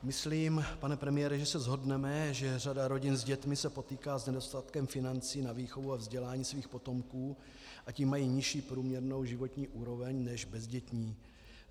Myslím, pane premiére, že se shodneme, že řada rodin s dětmi se potýká s nedostatkem financí na výchovu a vzdělání svých potomků, a tím mají nižší průměrnou životní úroveň než bezdětní.